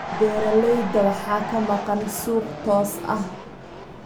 Beeralayda waxaa ka maqan suuq toos ah.